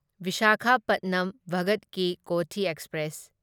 Visakhapatnam Bhagat ki Kothi express